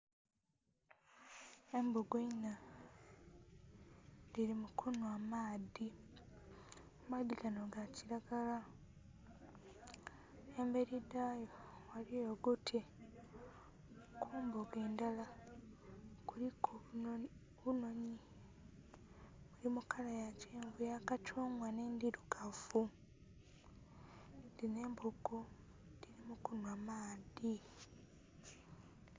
Embogo inha dhiri mu kunwa maadhi, amaadhi gano ga kilagara ,emberi dhaayo eriyo oguti , ku mbogo endala kuliku obunhonhi buli mu kala ya kathungwa n'endirugavu, dhino embogo dhiri mu kunwa maadhi.